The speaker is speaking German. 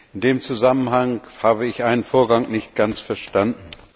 In dem Zusammenhang habe ich einen Vorgang nicht ganz verstanden.